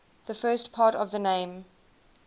the first part of the name